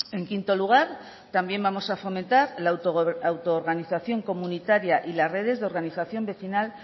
en quinto lugar también vamos a fomentar la auto organización comunitaria y las redes de organización vecinal